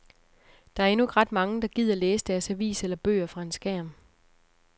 Der endnu ikke ret mange, der gider læse deres avis eller bøger fra en skærm.